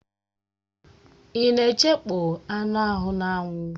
Ị na-echekpọ anụ ahụ n'anwụ?